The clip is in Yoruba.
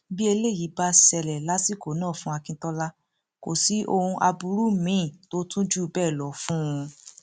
bí eléyìí bá ṣẹlẹ lásìkò náà fún akintola kò sí ohun aburú míín tó tún jù bẹẹ lọ fún un